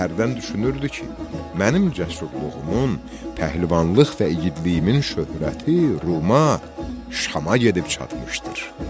Hərdən düşünürdü ki, mənim cəsurluğumun, pəhlivanlıq və igidliyimin şöhrəti Ruma, Şama gedib çatmışdır.